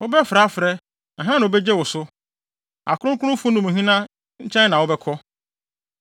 “Wobɛfrɛ a frɛ, na hena na obegye wo so? Akronkronfo no mu hena nkyɛn na wobɛkɔ?